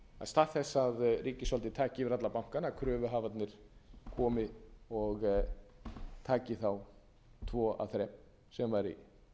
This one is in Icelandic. stað þess að ríkisvaldið taki yfir alla bankana kröfuhafarnir komi og taki þá tvo af þrem sem væri